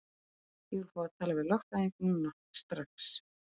Ég vil fá að tala við lögfræðing núna, strax!